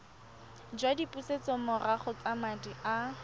jwa dipusetsomorago tsa madi a